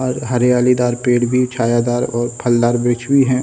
और हरियाली दार पेड़ भी छायादार और फलदार वृक्ष भी हैं।